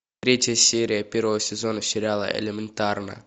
третья серия первого сезона сериала элементарно